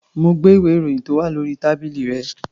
Mo gbé ìwé-ìròyìn tó wà ní orí tábìlì rẹ̀.